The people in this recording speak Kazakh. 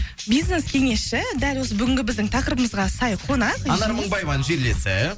бизнес кеңесші дәл осы бүгінгі біздің тақырыбымызға сай қонақ анар мыңбаеваның жерлесі